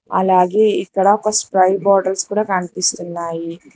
అలాగే ఇక్కడ spray bottles కూడా కనిపిస్తున్నాయి.